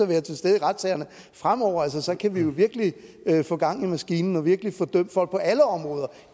være til stede i retssalen fremover så kan vi jo virkelig få gang i maskinen og virkelig få dømt folk på alle områder